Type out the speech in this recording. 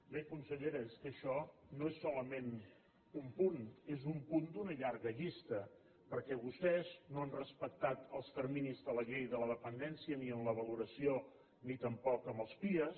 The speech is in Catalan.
bé consellera és que això no és solament un punt és un punt d’una llarga llista perquè vostès no han respectat els terminis de la llei de la dependència ni en la valoració ni tampoc en els pia